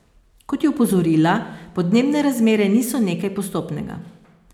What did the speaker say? Kot je opozorila, podnebne razmere niso nekaj postopnega.